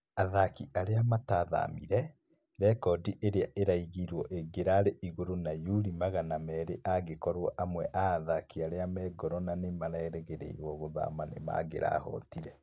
Athaki arĩa matathamire, rekodi ĩrĩa ĩraigirwo ĩngĩrari igũrũ na yurũ magana meri angĩkorwo amwe a athaki arĩa me goro na nĩmarerĩgĩrĩirwo gũthama nĩmangĩrahotire